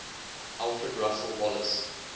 alfred russel wallace